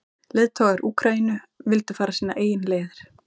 Leiðtogar Úkraínu vildu fara sínar eigin leiðir.